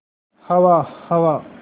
हवा हवा